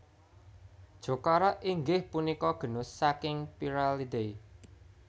Jocara inggih punika genus saking Pyralidae